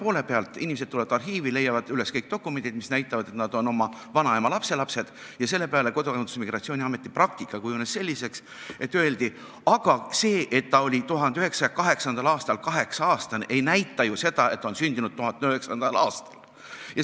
See käis nii: inimesed tulevad arhiivi, leiavad üles dokumendid, mis näitavad, et nad on oma vanaema lapselapsed, aga selle peale öeldi Kodakondsus- ja Migratsiooniametis ikka umbes nii: aga see, et vanaema oli 1908. aastal 8-aastane, ei näita ju seda, et ta on sündinud 1900. aastal!